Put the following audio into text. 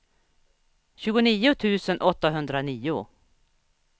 tjugonio tusen åttahundranio